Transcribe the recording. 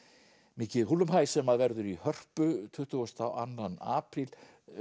mikið húllumhæ sem verður í Hörpu tuttugasta og annan apríl